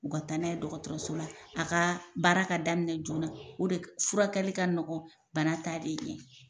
U ka taa n'a ye dɔgɔtɔrɔso la a ka baara ka daminɛ joona na o de furakɛli ka nɔgɔn bana taalen ɲɛ.